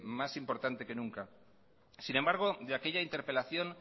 más importante que nunca sin embargo de aquella interpelación